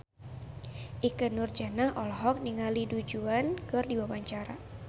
Ikke Nurjanah olohok ningali Du Juan keur diwawancara